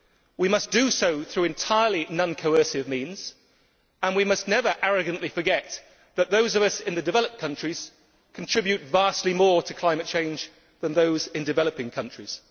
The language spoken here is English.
We must do so entirely through non coercive means, and we must never arrogantly forget that those of us in the developed countries contribute vastly more to climate change than those in developing countries.